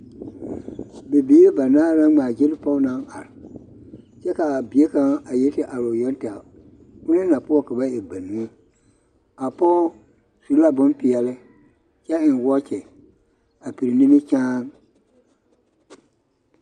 Bibiiri banaare la ŋmaa-gyili pɔge naŋ are kyɛ ka a bie kaŋ a yi te are o yoŋ tɛgɛ, onaŋ na poɔ ka ba e banuu, a pɔge su la bompeɛle kyɛ eŋ wɔɔkye a piri nimikyaane.